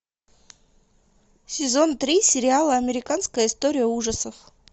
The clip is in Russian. сезон три сериала американская история ужасов